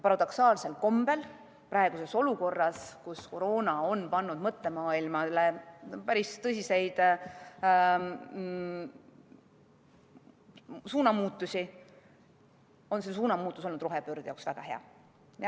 Paradoksaalsel kombel on praeguses olukorras, kus koroona on teinud mõttemaailmas päris tõsiseid suunamuutusi, olnud see suunamuutus rohepöörde jaoks väga hea.